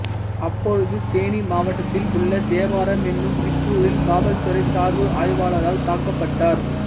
அப்பொழுது தேனி மாவட்டத்தில் உள்ள தேவாரம் என்னும் சிற்றூரில் காவல்துறை சார்பு ஆய்வாளரால் தாக்கப்பட்டார்